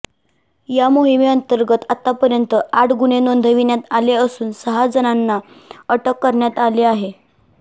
या मोहिमे अंतर्गत आतापर्यंत आठ गुन्हे नोंदविण्यात आले असून सहा जणांना अटक करण्यात आली आहे